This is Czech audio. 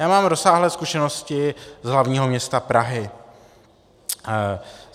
Já mám rozsáhlé zkušenosti z hlavního města Prahy.